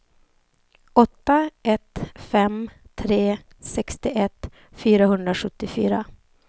åtta ett fem tre sextioett fyrahundrasjuttiofyra